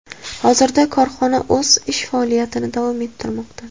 Hozirda korxona o‘z ish faoliyatini davom ettirmoqda.